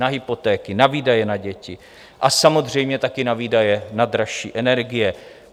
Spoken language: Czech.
Na hypotéky, na výdaje na děti a samozřejmě taky na výdaje na dražší energie.